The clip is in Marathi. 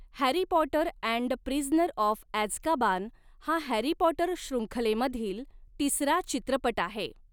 Harry Potter and the Prisoner of Azkaban हा हॅरी पॉटर शृंखलेमधील तिसरा चित्रपट आहे.